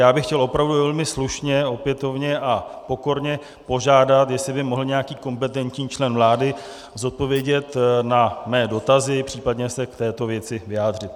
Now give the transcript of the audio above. Já bych chtěl opravdu velmi slušně opětovně a pokorně požádat, jestli by mohl nějaký kompetentní člen vlády odpovědět na mé dotazy, případně se k této věci vyjádřit.